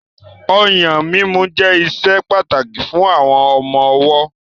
Ọyàn mímu jẹ́ ìṣe pàtàkì fún àwọn ọmọ ọwọ́.